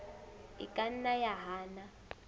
e ka nna ya hana